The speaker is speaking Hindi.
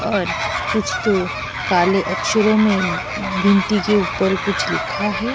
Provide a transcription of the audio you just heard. और कुछ तो काले अक्षरों में भिंती के ऊपर कुछ लिखा है।